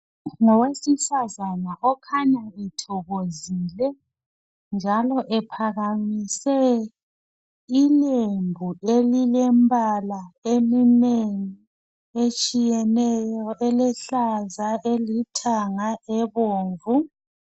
Ngowesifazane okhanya ethokozile njalo ephakamise ilembu elilembala eminengi etshiyeneyo elehlaza, elithanga, ebomvu .